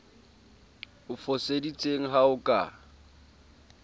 o foseditseng ha ho ka